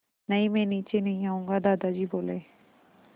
नहीं मैं नीचे नहीं आऊँगा दादाजी बोले